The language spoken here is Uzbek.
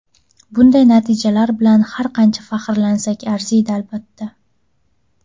Bunday natijalar bilan har qancha faxrlansak arziydi, albatta.